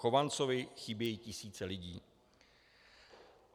Chovancovi chybějí tisíce lidí.